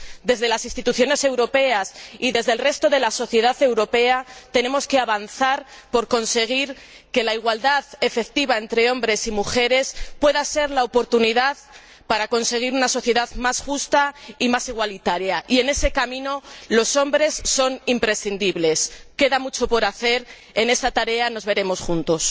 Desde las Instituciones europeas y desde el resto de la sociedad europea, tenemos que avanzar para lograr que la igualdad efectiva entre hombres y mujeres sea la oportunidad de conseguir una sociedad más justa y más igualitaria y, en ese camino, los hombres son imprescindibles. Queda mucho por hacer, en esa tarea nos veremos juntos.